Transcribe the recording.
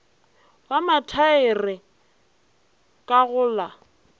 wa mathaere ka go la